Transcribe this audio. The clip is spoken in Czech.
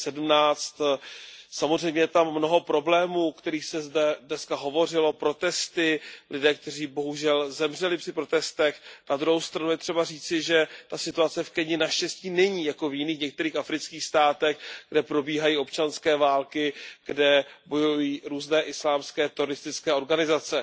2017. Samozřejmě je tam mnoho problémů, o kterých se zde dnes hovořilo, protesty, lidé, kteří bohužel zemřeli při protestech, na druhou stranu je třeba říci, že ta situace v Keni naštěstí není jako v jiných některých afrických státech, kde probíhají občanské války, kde bojují různé islámské teroristické organizace.